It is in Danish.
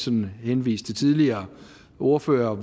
vil henvise til tidligere ordførere